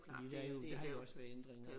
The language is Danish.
Fordi der er jo der har jo også været ændringer